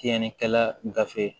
Tiɲɛnikɛla gafe